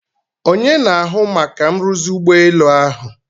Onye na-ahụ maka nruzi ụgbọelu ahụ?